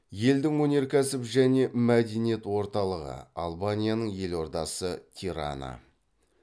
елдің өнеркәсіп және мәдениеторталығы албанияның елордасы тирана